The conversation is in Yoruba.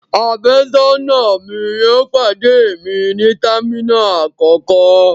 Àfẹ́sọ́nà mi yóò pàdé mi ní terminal àkọ́kọ́.